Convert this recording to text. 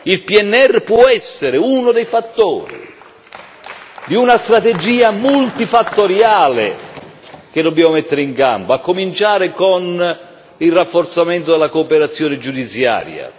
Il PNR può essere uno dei fattori di una strategia multifattoriale che dobbiamo mettere in campo, a cominciare dal rafforzamento della cooperazione giudiziaria.